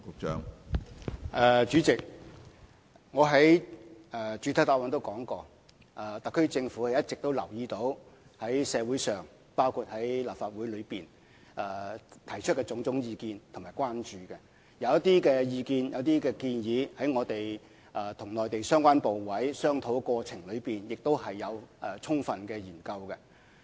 主席，我在主體答覆中也說過，特區政府一直留意到社會上，包括立法會內提出的種種意見和關注，而對於一些意見和建議，在我們與內地相關部委商討過程中也曾充分研究。